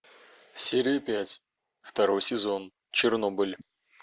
серия пять второй сезон чернобыль